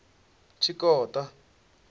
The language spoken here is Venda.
tshikota